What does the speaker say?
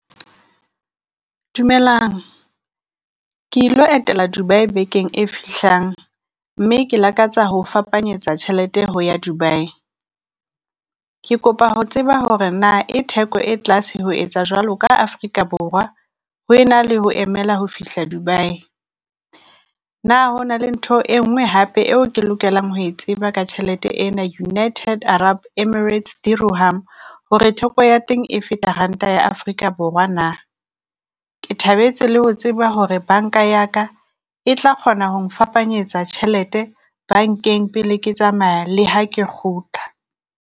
Dumelang, ke e lo etela Dubai bekeng e fihlang mme ke lakatsa ho fapanyetsa tjhelete ho ya Dubai. Ke kopa ho tseba hore na e theko e tlase ho etsa jwalo ka Afrika Borwa, ho ena le ho emela ho fihla Dubai? Na ho na le ntho e nngwe hape eo ke lokelang ho e tseba ka tjhelete ena United Arab Emirates Zero Harm hore theko ya teng e feta ranta ya Afrika Borwa na? Ke thabetse le ho tseba hore banka ya ka e tla kgona ho ngfapanyetsa tjhelete bankeng pele ke tsamaya le ha ke kgutla.